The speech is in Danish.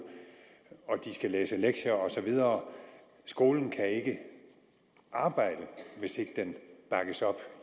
de skal læse lektier og så videre skolen kan ikke arbejde hvis ikke den bakkes op